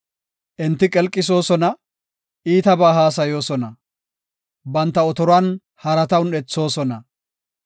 Enti qelqisoosona; iitabaa haasayoosona; banta otoruwan harata un7ethoosona.